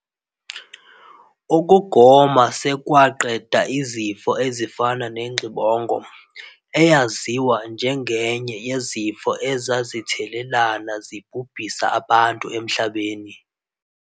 Ukugoma sekwaqeda izifo ezifana nengxibongo, eyaziwa njengenye yezifo ezazithelelana zibhubhisa abantu emhlabeni.